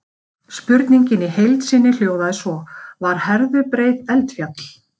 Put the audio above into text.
Spurningin í heild sinni hljóðaði svo: Var Herðubreið eldfjall?